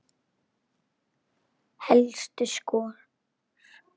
Helstu skor